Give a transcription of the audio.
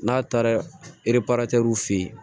N'a taara erebɛ fe yen